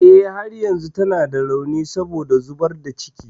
Eh, har yanzu tana da rauni saboda zubar da ciki.